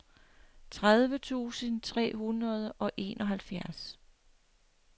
tredive tusind tre hundrede og enoghalvfjerds